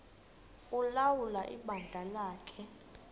ulawula ibandla lakhe